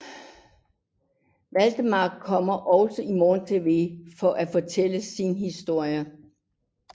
Waldemar kommer også i morgentv for at fortælle sin historie